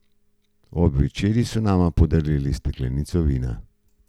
Ob večerji so nama podarili steklenico vina.